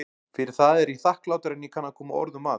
Fyrir það er ég þakklátari en ég kann að koma orðum að.